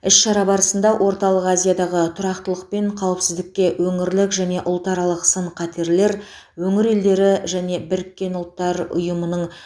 іс шара барысында орталық азиядағы тұрақтылық пен қауіпсіздікке өңірлік және ұлтаралық сын қатерлер өңір елдері және біріккен ұлттар ұйымының